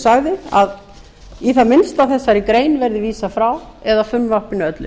sagði að í það minnsta þessari grein verði vísað frá eða frumvarpinu öllu